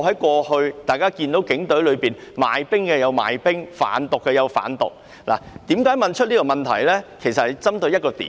過去，大家曾看到警隊內有人賣冰、有人販毒，而我提出這項質詢正是要針對這一點。